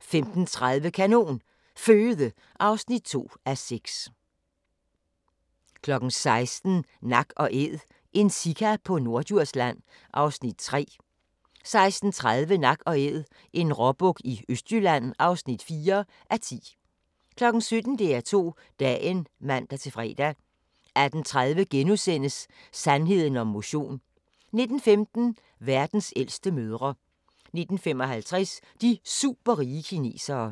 15:30: Kanon Føde (2:6) 16:00: Nak & Æd – en sika på Norddjursland (3:10) 16:30: Nak & Æd – en råbuk i Østjylland (4:10) 17:00: DR2 Dagen (man-fre) 18:30: Sandheden om motion * 19:15: Verdens ældste mødre 19:55: De superrige kinesere